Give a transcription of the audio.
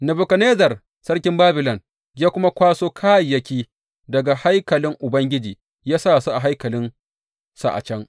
Nebukadnezzar sarkin Babilon ya kuma kwaso kayayyaki daga haikalin Ubangiji ya sa su a haikalinsa a can.